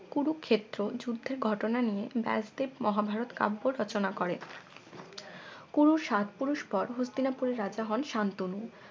কুরুক্ষেত্র যুদ্ধের ঘটনা নিয়ে ব্যাসদেব মহাভারত কাব্য রচনা করেন কুরুর সাত পুরুষ পর হস্তিনাপুরের রাজা হন সান্তনু